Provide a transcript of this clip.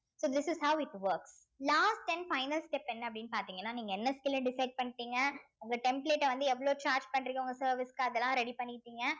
so this is how it work last and final step என்ன அப்படின்னு பார்த்தீங்கன்னா நீங்க என்ன skill அ decide பண்ணிட்டீங்க உங்க template அ வந்து எவ்வளவு charge பண்றீங்க உங்க service க்கு அதெல்லாம் ready பண்ணிட்டீங்க